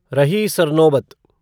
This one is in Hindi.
रही सरनोबत